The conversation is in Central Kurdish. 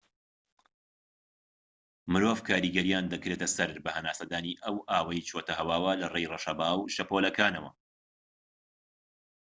مرۆڤ کاریگەریان دەکرێتە سەر بە هەناسەدانی ئەو ئاوەی چۆتە هەواوە لەڕێی ڕەشەبا و شەپۆلەکانەوە